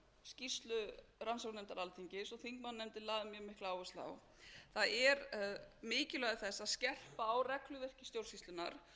skýrslu rannsóknarnefndar alþingis og þingmannanefndin lagði mikla áherslu á það er mikilvægi þess að skerpa á regluverki stjórnsýslunnar